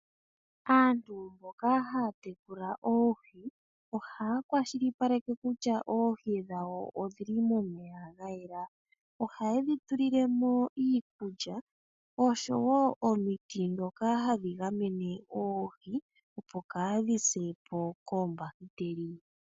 Aantu mboka haya tekula oohi ohaya kwashilipaleka kutya oohi dhawo odhili momeya ga yela. Ohayedhi tulilemo iikulya oshowo omiti dhoka hadhi gamene oohi opo kaadhi sepo koombakiteli.